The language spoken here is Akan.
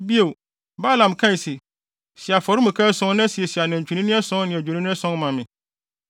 Bio, Balaam kae se, “Si afɔremuka ason na siesie anantwinini ason ne adwennini ason ma me.”